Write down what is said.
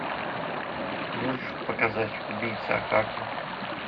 можешь показать убийца акаме